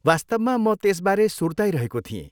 वास्तवमा म त्यसबारे सुर्ताइरहेको थिएँ।